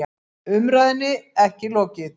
Umræðunni ekki lokið